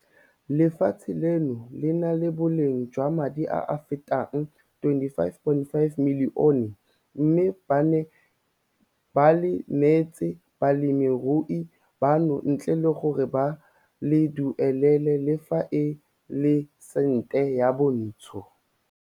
Lefatshe leno le na le boleng jwa madi a a fetang R25.5 milione mme ba le neetse balemirui bano ntle le gore ba le duelele le fa e le sente yo montsho.